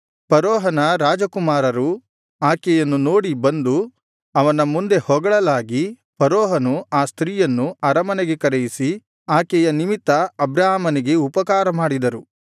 ಫರೋಹನ ರಾಜಕುಮಾರರು ಆಕೆಯನ್ನು ನೋಡಿ ಬಂದು ಅವನ ಮುಂದೆ ಹೊಗಳಲಾಗಿ ಫರೋಹನು ಆ ಸ್ತ್ರೀಯನ್ನು ಅರಮನೆಗೆ ಕರೆಯಿಸಿ ಆಕೆಯ ನಿಮಿತ್ತ ಅಬ್ರಾಮನಿಗೆ ಉಪಕಾರ ಮಾಡಿದನು